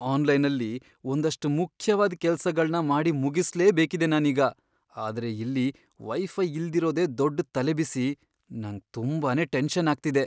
ಆನ್ಲೈನಲ್ಲಿ ಒಂದಷ್ಟ್ ಮುಖ್ಯವಾದ್ ಕೆಲ್ಸಗಳ್ನ ಮಾಡಿ ಮುಗಿಸ್ಲೇಬೇಕಿದೆ ನಾನೀಗ, ಆದ್ರೆ ಇಲ್ಲಿ ವೈಫೈ ಇಲ್ದಿರೋದೇ ದೊಡ್ಡ್ ತಲೆಬಿಸಿ, ನಂಗ್ ತುಂಬಾನೇ ಟೆನ್ಷನ್ ಆಗ್ತಿದೆ.